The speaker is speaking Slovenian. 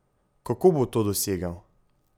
Kako bo to dosegel?